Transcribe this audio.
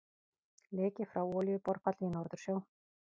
Leki frá olíuborpalli í Norðursjó.